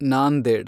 Nanded